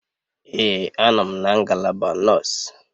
Ee a nọ m na ngalaba nọọsụ.